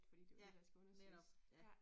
Ja, netop. Ja